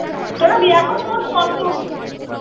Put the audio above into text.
তোরা এখন মোট কতগুলো